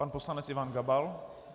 Pan poslanec Ivan Gabal.